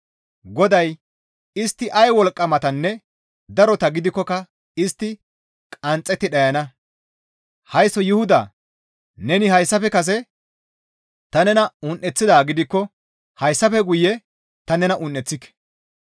GODAY, «Istti ay wolqqamatanne darota gidikkoka istti qanxxetti dhayana. Haysso Yuhuda neni hayssafe kase ta nena un7eththidaa gidikko hayssafe guye ta nena un7eththike.